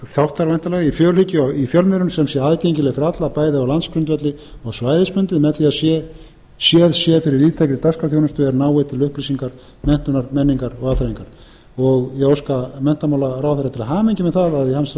afgerandi þáttar í fjölhyggju í fjölmiðlun sem sé aðgengileg fyrir alla bæði á landsgrundvelli og svæðisbundið með því að séð sé fyrir víðtækri dagskrárþjónustu er nái til upplýsingar menntunar menningar og afþreyingar ég óska menntamálaráðherra til hamingju með það að í hans